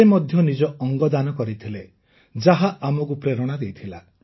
ସେ ମଧ୍ୟ ନିଜ ଅଙ୍ଗ ଦାନ କରିଥିଲେ ଯାହା ଆମକୁ ପ୍ରେରଣା ଯୋଗାଇଥିଲା